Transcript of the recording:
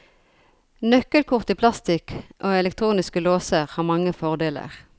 Nøkkelkort i plastikk og elektroniske låser har mange fordeler.